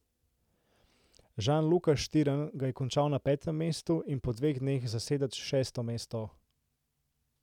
Žan Luka Štirn ga je končal na petem mestu in po dveh dneh zaseda šesto mesto.